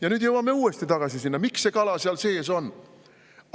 Ja nüüd jõuame uuesti tagasi selleni, miks see kala seal sees on.